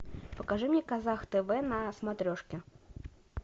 покажи мне казах тв на смотрешке